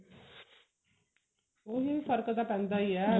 ਉਹੀ ਫਰਕ ਤਾਂ ਪੈਂਦਾ ਹੀ ਹੈ